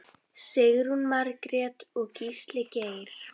Sigrún Margrét og Gísli Geir.